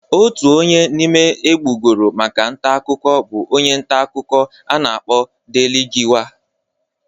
Otu onye n'ime egbugoro maka ntakụkọ bụ onye ntakụkọ a na-akpọ Delegiwa.